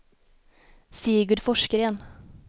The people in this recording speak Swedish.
Sigurd Forsgren